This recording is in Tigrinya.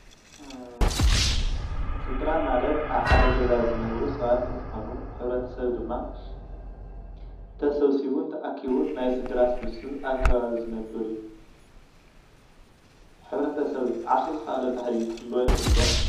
ስድራ ማለት ኣብ ሓደ ገዛ ዝነብሩ ሰባት እንትኮኑ ሕብረተሰብ ድማ ተሰብሲቡን ተኣኪቡን ናይ ስድራ ስብስብ ኣብ ከባቢ ዝነብር እዩ ። ሕብረተሰብ ዓርሱ ዝከኣለ ባህሊ ክህልዎ ይክእል ዶ?